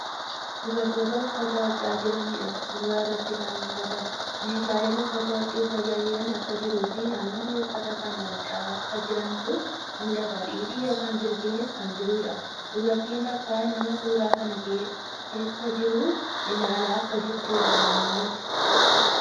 Dubartoota uffata hodhaa jiraniidha suuraa irratti kan mul'atan. Meeshalen uffata hodhuuf tajaajilan akka jiruu fii namoonni uffata kana hodhaa akka jirantu mul'ata. xixii ykn jirbiinis kan jiruudha. Dubartiin takka nama suuraa kana kaasaa jiru ilaalaa akka jiruudha kan mul'atu.